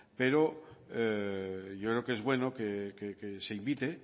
pero yo creo que es bueno que se invite